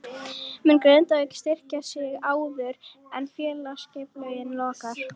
Mun Grindavík styrkja sig áður en félagaskiptaglugginn lokar?